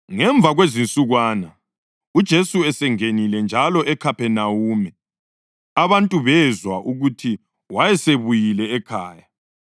Ngemva kwezinsukwana, uJesu esengenile njalo eKhaphenawume, abantu bezwa ukuthi wayesebuyile ekhaya.